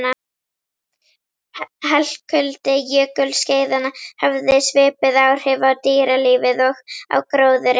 Helkuldi jökulskeiðanna hafði svipuð áhrif á dýralífið og á gróðurinn.